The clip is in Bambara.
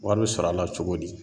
Wari bɛ sɔrɔ a la cogo di?